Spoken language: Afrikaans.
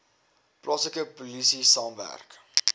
plaaslike polisie saamwerk